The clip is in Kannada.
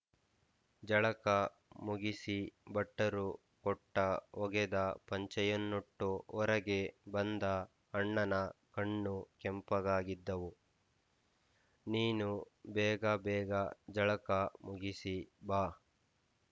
ಜಳಕ ಮುಗಿಸಿ ಭಟ್ಟರು ಕೊಟ್ಟ ಒಗೆದ ಪಂಜಿಯನ್ನುಟ್ಟು ಹೊರಗೆ ಬಂದ ಅಣ್ಣನ ಕಣ್ಣು ಕೆಂಪಗಾಗಿದ್ದುವು ನೀನು ಬೇಗ ಬೇಗ ಜಳಕ ಮುಗಿಸಿ ಬಾ